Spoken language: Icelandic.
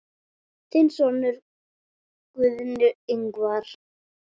Þinn sonur, Guðni Ingvar.